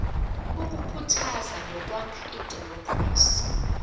ukukhuthaza nokwakha idemokhrasi